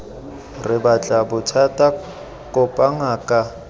re batle bothata kopa ngaka